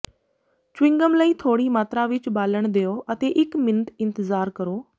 chewing gum ਲਈ ਥੋੜ੍ਹੀ ਮਾਤਰਾ ਵਿੱਚ ਬਾਲਣ ਦਿਓ ਅਤੇ ਇੱਕ ਮਿੰਟ ਇੰਤਜ਼ਾਰ ਕਰੋ